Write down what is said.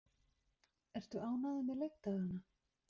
Ertu ánægður með leikdagana?